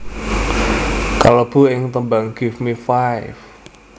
kalebu ing tembang Give Me Five